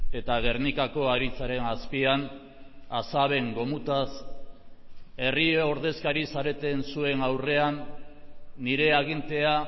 eta gernikako aritzaren azpian asaben gomutaz herri ordezkari zareten zuen aurrean nire agintea